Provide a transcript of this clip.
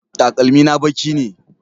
Takalmi na baƙi ne